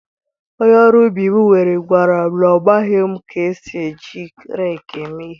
Onye ọrụ ubi m were gwara m na ọ maghị ka esi eji rekii eme ihe.